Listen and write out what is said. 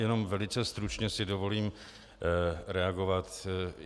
Jenom velice stručně si dovolím reagovat.